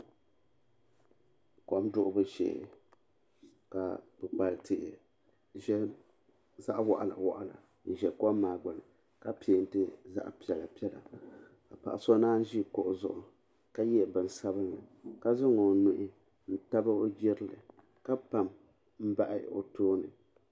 Kom duɣubu shee ka kpikpali tihi zaɣa waɣala waɣala n ʒɛ kom maa gbini ja penti zaɣa piɛla piɛla ka paɣa so naanyi ʒi kuɣu zuɣu ka ye bini sabinli ka zaŋ o nuhi n tabi o jirili ka pam n bahi o tooni.